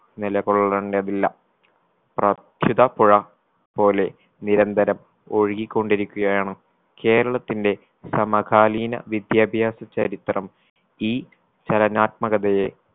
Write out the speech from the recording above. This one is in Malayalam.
നിലകൊള്ളേണ്ടതില്ല പ്രാപ്‍സിത പുഴ പോലെ നിരന്തരം ഒഴുകിക്കൊണ്ടിരിക്കുകയാണ് കേരളത്തിന്റെ സമകാലീന വിദ്യാഭ്യാസ ചരിത്രം ഈ ചലനാത്മകതയെ